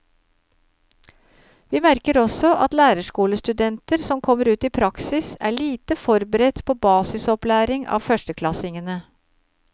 Vi merker også at lærerskolestudenter som kommer ut i praksis er lite forberedt på basisopplæring av førsteklassingene.